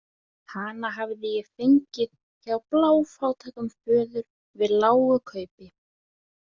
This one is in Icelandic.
Hann hafði ég fengið hjá bláfátækum föður við lágu kaupi.